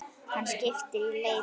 Hann skipar í leitir.